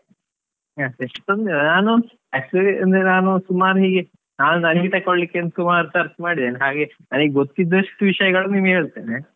ನಾನು actually ಅಂದ್ರೆ ನಾನು ಸುಮಾರ್ ಹೀಗೆ ನಾನ್ ನನಿಗೆ ತೆಕ್ಕೊಳ್ಲಿಕ್ಕೆ ಅಂತ ಸುಮಾರ್ search ಮಾಡಿದ್ದೇನೆ, ಹಾಗೆ ನನಿಗೆ ಗೊತ್ತಿದಷ್ಟು ವಿಷಯಗಳನ್ನು ನಿಮ್ಗೆ ಹೇಳ್ತೇನೆ.